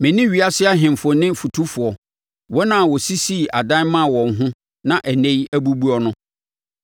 me ne ewiase ahemfo ne fotufoɔ, wɔn a wɔsisii adan maa wɔn ho na ɛnnɛ yi abubuo no,